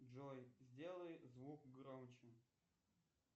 джой сделай звук громче